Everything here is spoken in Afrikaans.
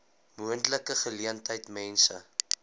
moontlike geleentheid mense